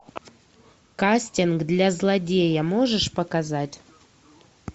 кастинг для злодея можешь показать